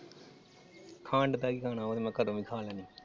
ਖੰਡ ਦਾ ਕਿ ਖਾਣਾ ਉਹ ਤਾ ਮੈ ਘਰੋਂ ਵੀ ਖਾ ਲੈਣੀ ਆ ।